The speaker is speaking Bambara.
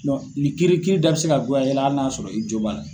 Nin kiiri kiiri da bɛ se ka goya e la hali n'a y'a sɔrɔ i jo b'a la.